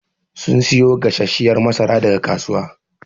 Sun siyo gasashshiyar masara daga kasuwa.